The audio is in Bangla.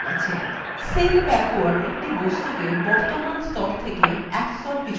send backward একটি বস্তুকে বর্তমান স্তর থেকে এক স্তর পিছনে পাঠায়